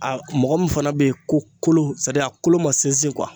A mɔgɔ min fana be ye ko kolo sadi a kolo ma sinsin